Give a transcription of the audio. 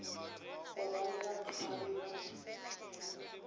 go ba le batshwari ba